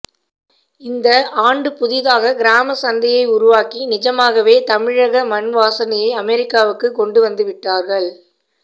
இந்த ஆண்டு புதிதாக கிராம சந்தையை உருவாக்கி நிஜமாகவே தமிழக மண்வாசனையை அமெரிக்காவுக்கு கொண்டு வந்து விட்டார்கள்